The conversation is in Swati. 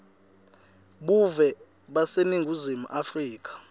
buve baseningizimu afrika